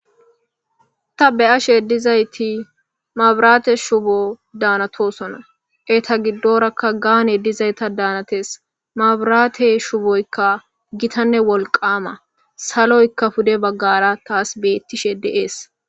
ta be7ashe dizayti mabiraate shubo daanatoosona. Eta giddorakka gaane dizayta daanates. Mabiraate shuboykka gitanne wolqaama saloykka pude baggara taas beettishe de7ees.